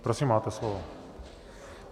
Prosím, máte slovo.